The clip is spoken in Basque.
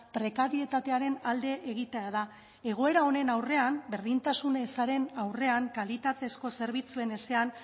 prekarietatearen alde egitea da egoera honen aurrean berdintasun ezaren aurrean kalitatezko zerbitzuen ezean